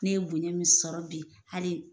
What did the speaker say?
Ne ye bonya min sɔrɔ bi hali